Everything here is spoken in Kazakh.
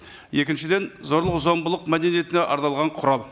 екіншіден зорлық зомбылық мәдениетіне арналған құрал